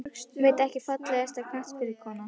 Veit ekki Fallegasta knattspyrnukonan?